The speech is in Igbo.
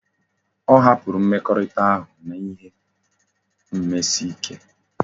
O hapuru mmekorita ahu na ihi mmesike